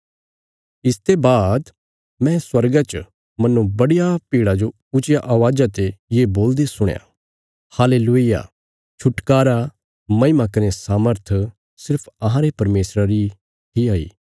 इसते बाद मैं स्वर्गा च मन्नो बडिया भीड़ा जो ऊच्चिया अवाज़ा ते ये बोलदे सुणया हालेलूय्याह छुटकारा महिमा कने सामर्थ सिर्फ अहांरे परमेशरा री हई